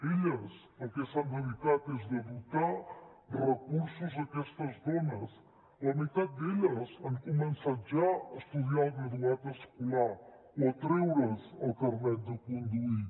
elles al que s’han dedicat és a dotar de recursos aquestes dones la meitat d’elles han començat ja a estudiar el graduat escolar o a treure’s el carnet de conduir